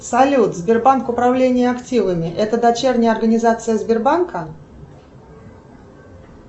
салют сбербанк управление активами это дочерняя организация сбербанка